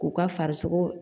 K'u ka farisogo